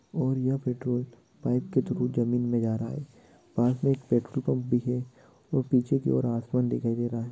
और यह petrol pipe के थ्रू जमीन में जारा है| पास में एक पेट्रोल पंप भी है और पीछे की और आसमान दिखाई दे रहा है।